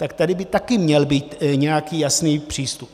Tak tady by taky měl být nějaký jasný přístup.